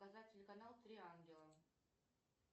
показать телеканал три ангела